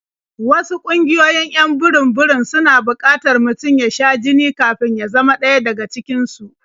Wasu ƙungiyoyin 'yan burum-burum suna buƙatar mutum ya sha jini kafin ya zama ɗaya daga cikin su.